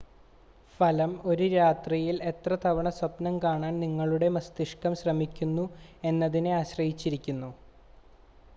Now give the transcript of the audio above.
ഫലം ഒരു രാത്രിയിൽ എത്ര തവണ സ്വപ്നം കാണാൻ നിങ്ങളുടെ മസ്തിഷ്കം ശ്രമിക്കുന്നു എന്നതിനെ ആശ്രയിച്ചിരിക്കുന്നു